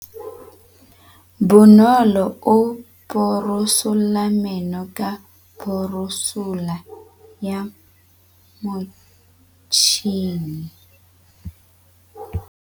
Bonolô o borosola meno ka borosolo ya motšhine.